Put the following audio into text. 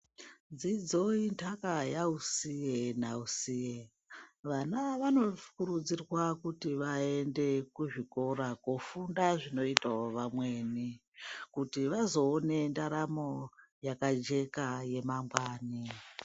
Dzidzo intaka yausiye nausiye. Vana vanokurudzirwa Kuti vaende kuzvikora kofunda zvinoita vamweni kuti vazoona ndaramo yakajeka yemangwani.